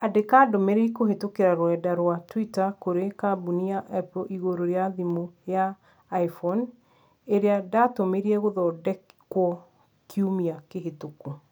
Andĩka ndũmĩrĩri kũhĩtũkĩra rũrenda rũa tũita kũrĩ kambũni ya Apple igũrũ rĩa thimũ ya ĩ iPhone ĩrĩ ndatũmĩre gũthondekwo kiumia kĩhĩtũku